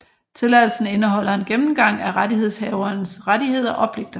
Tilladelsen indeholder en gennemgang af rettighedshaverens rettigheder og pligter